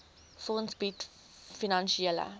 fonds bied finansiële